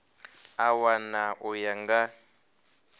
a wana u ya nga